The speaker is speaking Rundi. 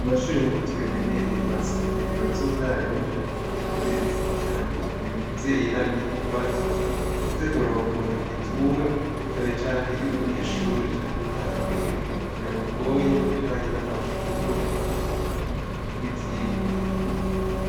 Mu mashure nkuko tubimenyereye tuhasanga ibiro vy'umwarimu canke ivy'umurezi , kugira ngo umuvyeyi nagira ikibazo aze kuronka umuntu agitura cane cane iyo umunyeshure canke umwana wiwe yamugoye mu bijanye n'amashure, n'ivyigwa.